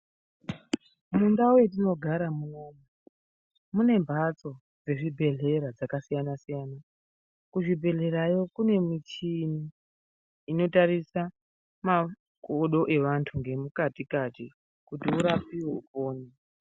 Mundau yatinogaramo munomu mune mbatso dzezvibhedhlera dzakasiyana-siyana , kuzvibhedhlerayo kune michini inotarisa makodo evantu nemukati kati kuti urapiwe upone.